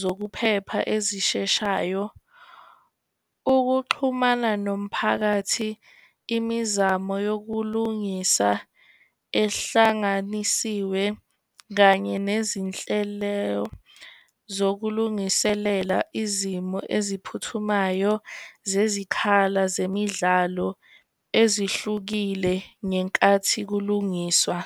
zokuphepha ezisheshayo, ukuxhumana nomphakathi, imizamo yokulungisa ehlanganisiwe, kanye nezinhlelo zokulungiselela izimo eziphuthumayo zezikhala zemidlalo ezihlukile ngenkathi kulungiswa.